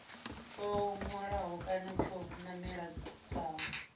tsho hwalaho kana tsho namedzaho